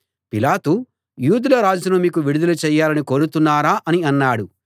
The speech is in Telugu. పిలాతు యూదుల రాజును మీకు విడుదల చేయాలని కోరుతున్నారా అని అన్నాడు